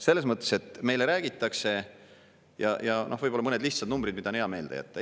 Selles mõttes, et meile räägitakse … ja võib-olla mõned lihtsad numbrid, mida on hea meelde jätta.